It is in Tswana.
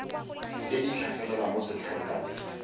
tse di tlhagelela mo setlankaneng